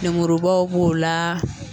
Lemurubaw b'o laa